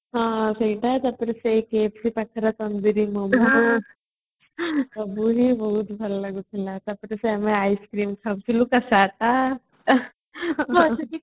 ହଁ ସେଇଟା ତାପରେ cafes ପାଖରେ ତନ୍ଦୁରୀ ମୋମୋ ସବୁ ବି ବହୁତ ଭଲ ଲାଗୁଥିଲା ତାପରେ ଆମେ ice cream ଖାଉଥିଲେ ତା ତା